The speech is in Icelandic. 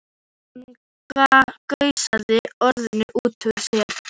Hann gusaði orðunum út úr sér.